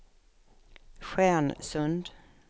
Stjärnsund